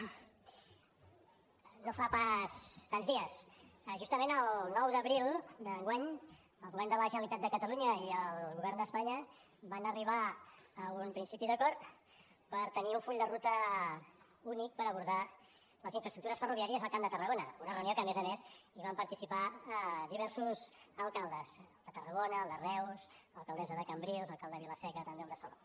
no fa pas tants dies justament el nou d’abril d’enguany el govern de la generalitat de catalunya i el govern d’espanya van arribar a un principi d’acord per tenir un full de ruta únic per abordar les infraestructures ferroviàries al camp de tarragona una reunió en què a més a més hi van participar diversos alcaldes el de tarragona el de reus l’alcaldessa de cambrils l’alcalde de vila seca també el de salou